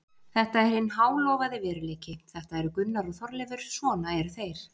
Þetta er hinn hálofaði veruleiki, þetta eru Gunnar og Þorleifur, svona eru þeir.